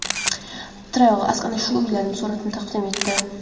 TravelAsk ana shu uylarning suratlarini taqdim etdi .